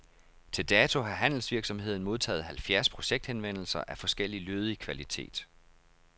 Til dato har handelsvirksomheden modtaget halvfjerds projekthenvendelser af forskellig lødig kvalitet.